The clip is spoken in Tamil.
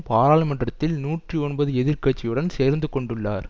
பாராளுமன்றத்தில் நூற்றி ஒன்பது எதிர் கட்சியுடன் சேர்ந்து கொண்டுள்ளார்